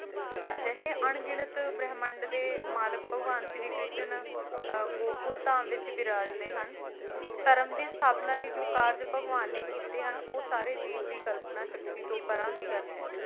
ਅਜਿਹੇ ਅਣਗਿਣਤ ਬ੍ਰਹਿਮੰਡ ਦੇ ਮਾਲਕ ਭਗਵਾਨ ਸ਼੍ਰੀ ਕ੍ਰਿਸ਼ਨ ਅਹ ਗੋਕੁਲ ਧਾਮ ਵਿੱਚ ਵਿਰਾਜਦੇ ਹਨ ਧਰਮ ਦੀ ਸਥਾਪਨਾ ਲਈ ਜੋ ਕਾਰਜ ਭਗਵਾਨ ਨੇ ਕੀਤੇ ਹਨ ਉਹ ਸਾਰੇ ਜੀਵ ਦੀ ਕਲਪਨਾ ਸ਼ਕਤੀ ਤੋਂ ਪਰਾਂ ਦੀ ਗੱਲ ਹੈ।